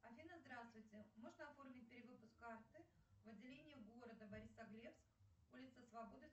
афина здравствуйте можно оформить перевыпуск карты в отделении города борисоглебск улица свободы